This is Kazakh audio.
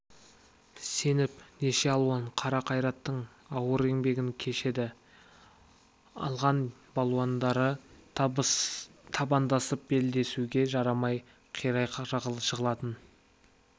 сеніп неше алуан қара қайраттың ауыр еңбегін кешеді алған балуандары табандасып белдесуге жарамай қирай жығылатын